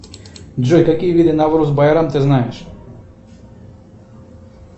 джой какие виды навруз байрам ты знаешь